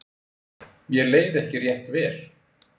Mér leið ekki rétt vel.